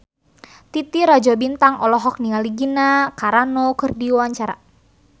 Titi Rajo Bintang olohok ningali Gina Carano keur diwawancara